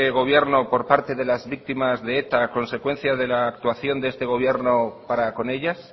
gobierno por parte de las víctimas de eta a consecuencia de la actuación de este gobierno para con ellas